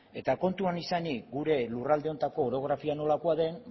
eta kontuan izanik gure lurralde honetako orografia nolakoa den